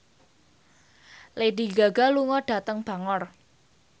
Lady Gaga lunga dhateng Bangor